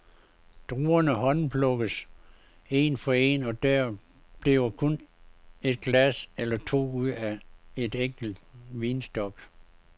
Druerne håndplukkes en for en, og der bliver kun et glas eller to ud af en enkelt vinstok.